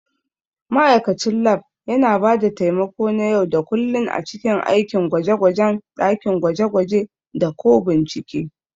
Ma'aikacin Lab yana ba da taimako na yau da kullun a cikin aikin gwaje-gwajen dakin gwaje-gwaje da/ko bincike.